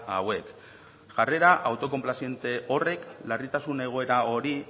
hauek jarrera autokonplatziente horrek larritasun egoera hori